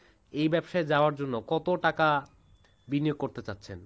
এই ব্যবসায় যাওয়ার জন্য কত টাকা বিনিয়োগ করতে চাচ্ছেন?